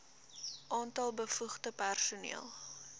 aantal bevoegde personeel